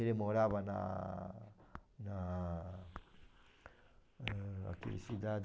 Ele morava na... na... ãh, naquele cidade...